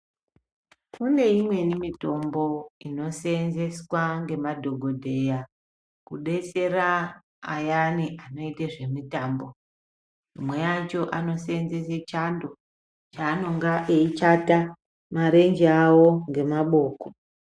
Kune imweni mitombo inoseenzeswa ngemadhogodheya, kudetsera ayani anoite zvemutambo imwe yacho anoseenzese chando cheanonge eichata marenje awo ngemaboko